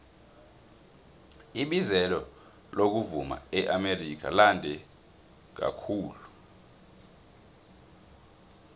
ibizelo lokuvuma eamerika lande kakhulu